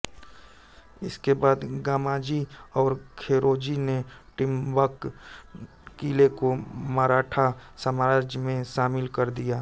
इसके बाद गामाजी और खेरोजी ने ट्रिम्बक किले को मराठा साम्राज्य में शामिल कर दिया